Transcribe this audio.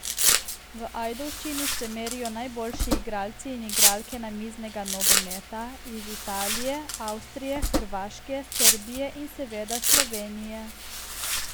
V Ajdovščini se merijo najboljši igralci in igralke namiznega nogometa iz Italije, Avstrije, Hrvaške, Srbije in seveda Slovenije.